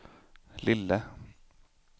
lille